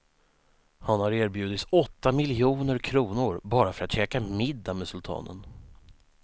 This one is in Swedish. Han har erbjudits åtta miljoner kronor bara för att käka middag med sultanen.